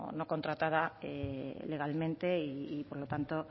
no contratada legalmente y por lo tanto